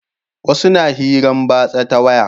Wasu na hiran batsa ta waya